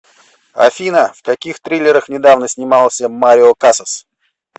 афина в каких триллерах недавно снимался марио касас